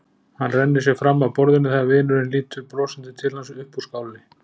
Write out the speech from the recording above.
Hann rennir sér fram af borðinu þegar vinurinn lítur brosandi til hans upp úr skálinni.